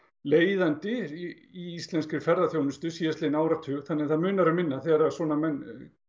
leiðandi í íslenskri ferðaþjónustu síðastliðinn áratug þannig það munar um minna þegar svona menn